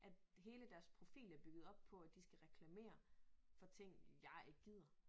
At hele deres profil er bygget på at de skal reklamere for ting jeg ikke gider